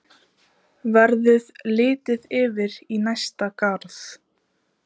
Verður litið yfir í næsta garð.